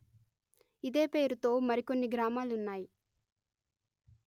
ఇదే పేరుతో మరి కొన్ని గ్రామాలున్నాయి